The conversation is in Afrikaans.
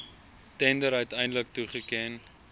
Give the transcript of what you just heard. tender uiteindelik toegeken